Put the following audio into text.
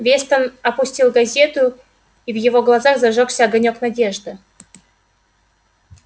вестон опустил газету и в его глазах зажёгся огонёк надежды